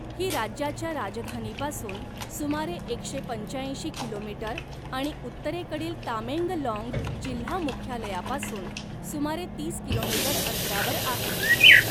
ही राज्याच्या राजधानीपासून सुमारे एकशे पंचाऐंशी किलोमीटर आणि उत्तरेकडील तामेंगलॉंग जिल्हा मुख्यालयापासून सुमारे तीस किलोमीटर अंतरावर आहे.